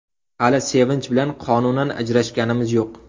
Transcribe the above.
Hali Sevinch bilan qonunan ajrashganimiz yo‘q.